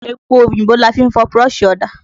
Epo òyìnbó la fi ń fọ búrọ́ṣì ọ̀dà.